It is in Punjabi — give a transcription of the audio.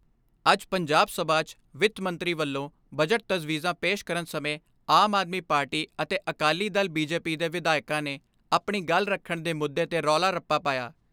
ਅੱਜ ਪੰਜਾਬ ਸਭਾ 'ਚ ਵਿੱਤ ਮੰਤਰੀ ਵੱਲੋਂ ਬਜਟ ਤਜਵੀਜ਼ਾਂ ਪੇਸ਼ ਕਰਨ ਸਮੇਂ ਆਮ ਆਦਮੀ ਪਾਰਟੀ ਅਤੇ Akali Dal B J P ਦੇ ਵਿਧਾਇਕਾਂ ਨੇ ਆਪਣੀ ਗੱਲ ਰੱਖਣ ਦੇ ਮੁੱਦੇ ਤੇ ਰੌਲਾ ਰੱਪਾ ਪਾਇਆ।